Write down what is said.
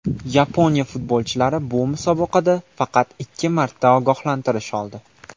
Yaponiya futbolchilari bu musobaqada faqat ikki marta ogohlantirish oldi.